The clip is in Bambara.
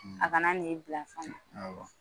A kana ni bila fana